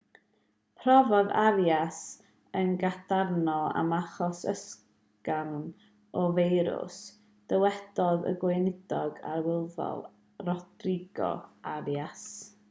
profodd arias yn gadarnhaol am achos ysgafn o'r feirws dywedodd y gweinidog arlywyddol rodrigo arias